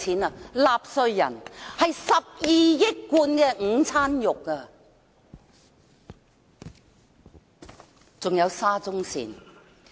由納稅人支付，這12億罐午餐肉的價錢。